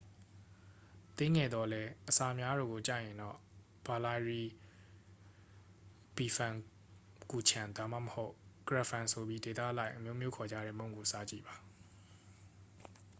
သေးငယ်သော်လည်း အစာများတာကို ကြိုက်ရင်တော့ ဘာလိုင်းရီလ်ပီဖန်ကူချန် ဒါမှမဟုတ် ကရက်ဖန် ဆိုပြီး ဒေသအလိုက် အမျိုးမျိုးခေါ်ကြတဲ့ မုန့်ကို စားကြည့်ပါ